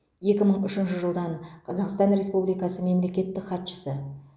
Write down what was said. екі мың үшінші жылдан қазақстан республикасы мемлекеттік хатшысы